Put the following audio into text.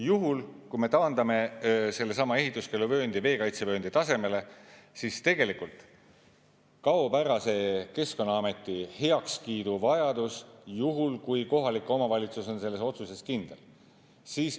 Juhul kui me taandame sellesama ehituskeeluvööndi veekaitsevööndi tasemele, siis tegelikult kaob ära see Keskkonnaameti heakskiidu vajadus juhul, kui kohalik omavalitsus on selles otsuses kindel.